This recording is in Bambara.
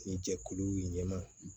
Ni jɛkuluw ɲɛma